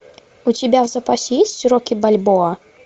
у тебя в запасе есть рокки бальбоа